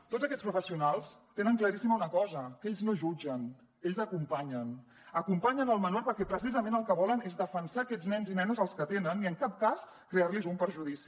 tots aquests professionals tenen claríssima una cosa que ells no jutgen ells acompanyen acompanyen el menor perquè precisament el que volen és defensar aquests nens i nenes als que atenen i en cap cas crearlos un perjudici